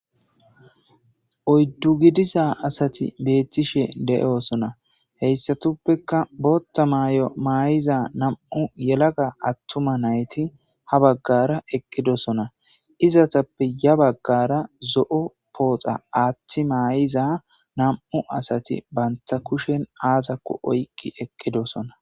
Oyddu gidiza asati beettishe de'osona heyssatuppeka bootta maay'o maay'iza nam'u yelaga attuma nayti ha baggara eqqidosona izatappe ya baggara zo'o pooxa aaththi maayiza nam'u asati banta kushen aazakko oyqqi eqqidosona.